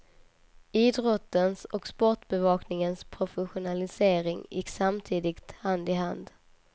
Idrottens och sportbevakningens professionalisering gick samtidigt hand i hand.